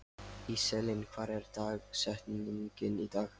Íselín, hver er dagsetningin í dag?